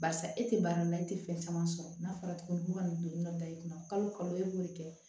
Barisa e tɛ baara la i tɛ fɛn caman sɔrɔ n'a fɔra tuguni ko ka nin don na da i kunna kalo kalo e b'o de kɛ